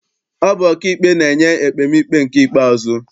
Ọ bụ ọkaikpe na-enye ekpemikpe nke ikpeazụ.